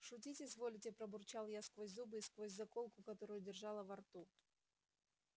шутить изволите пробурчала я сквозь зубы и сквозь заколку которую держала во рту